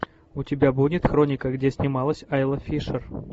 у тебя будет хроника где снималась айла фишер